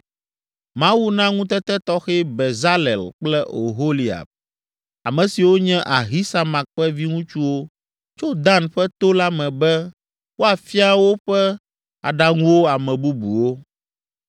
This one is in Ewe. Mawu na ŋutete tɔxɛ Bezalel kple Oholiab, ame siwo nye Ahisamak ƒe viŋutsuwo tso Dan ƒe to la me be woafia woƒe aɖaŋuwo ame bubuwo.